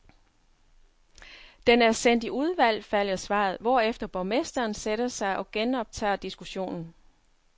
Den er sendt i udvalg, falder svaret, hvorefter borgmesteren sætter sig og genoptager diskussionen.